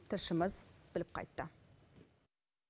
тілшіміз біліп қайтты